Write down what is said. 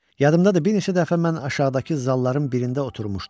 Yadımdadır, bir neçə dəfə mən aşağıdakı zalların birində oturmuşdum.